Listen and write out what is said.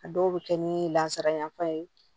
A dɔw bɛ kɛ ni lasara yanfan ye